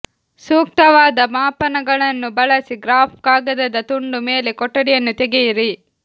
ಸೂಕ್ತವಾದ ಮಾಪನಗಳನ್ನು ಬಳಸಿ ಗ್ರಾಫ್ ಕಾಗದದ ತುಂಡು ಮೇಲೆ ಕೊಠಡಿಯನ್ನು ತೆಗೆಯಿರಿ